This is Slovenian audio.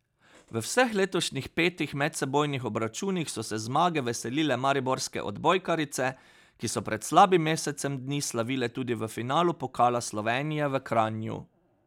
V vseh letošnjih petih medsebojnih obračunih so se zmage veselile mariborske odbojkarice, ki so pred slabim mesecem dni slavile tudi v finalu pokala Slovenije v Kranju.